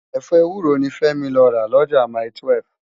Efọ éwúró ni Femi lò rá Loja mái-túwèf